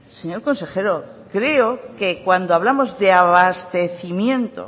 señor consejero creo que cuando hablamos de abastecimiento